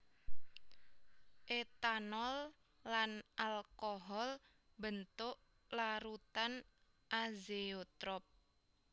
Etanol lan alkohol mbentuk larutan azeotrop